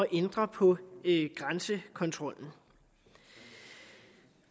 ændre på grænsekontrollen